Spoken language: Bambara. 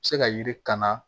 Se ka yiri kan na